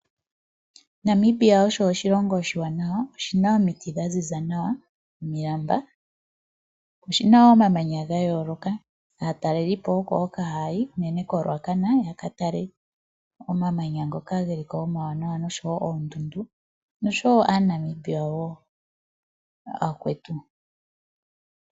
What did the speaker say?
Namibia osho oshilongo oshiwanawa. Oshina omiti dha ziza nawa nomilamba. Oshina wo omamanya ga yooloka. Aatalelipo oko hoka haya yi unene koRuacana yaka tale omamanya ngoka geli ko omawanawa nosho wo oondundu. Noshowo aaNamibia wo aakwetu.